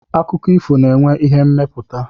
Akụkọ ifo na-enwe ihe mmepụta.